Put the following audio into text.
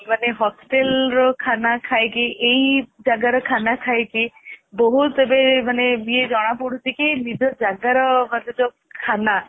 ମାନେ hostel ର ଖାନା ଖାଇ କି ଏଇ ଜାଗା ର ଖାନା ଖାଇ କି ବହୁତ ଏବେ ଇଏ ଜଣା ପଡୁଛି କି ଯେ ନିଜ ଜାଗା ର ମାନେ ଯଉ ଖାନା